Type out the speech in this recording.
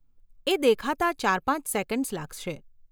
એ દેખાતાં ચાર પાંચ સેકન્ડસ લાગશે.